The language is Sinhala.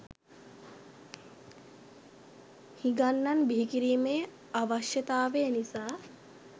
හිගන්නන් බිහි කිරීමේ අවශ්යතාවය නිසා